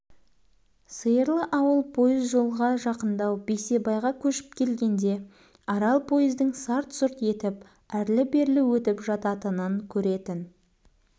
сиырлы ауыл пойыз жолға жақыңдау бейсебайға көшіп келгенде арал пойыздың сарт-сүрт етіп әрлі-бері өтіп жататынын көретін